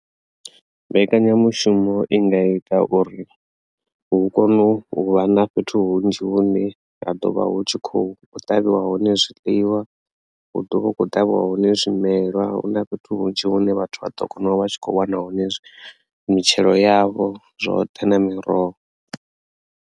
Mbekanyamushumo i nga ita uri hu kone u vha na fhethu hunzhi hune ha ḓovha hu tshi khou ṱavhiwa hone zwiḽiwa hu ḓovha hu kho ṱavhiwa hone zwimelwa hu na fhethu hunzhi hune vhathu vha ḓo kona u vha tshi kho wana hone mitshelo yavho zwoṱhe na miroho.